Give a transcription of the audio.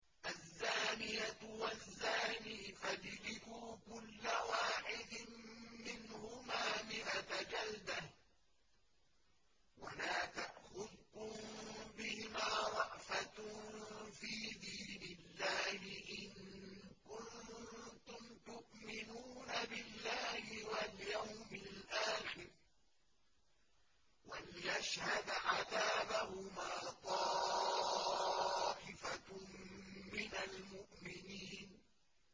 الزَّانِيَةُ وَالزَّانِي فَاجْلِدُوا كُلَّ وَاحِدٍ مِّنْهُمَا مِائَةَ جَلْدَةٍ ۖ وَلَا تَأْخُذْكُم بِهِمَا رَأْفَةٌ فِي دِينِ اللَّهِ إِن كُنتُمْ تُؤْمِنُونَ بِاللَّهِ وَالْيَوْمِ الْآخِرِ ۖ وَلْيَشْهَدْ عَذَابَهُمَا طَائِفَةٌ مِّنَ الْمُؤْمِنِينَ